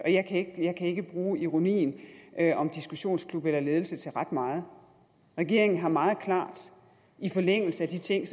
og jeg kan ikke bruge ironien om diskussionsklub eller ledelse til ret meget regeringen har meget klart i forlængelse af de ting